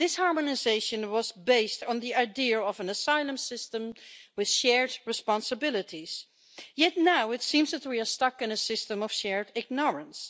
This harmonisation was based on the idea of an asylum system with shared responsibilities, yet now it seems that we are stuck in a system of shared ignorance.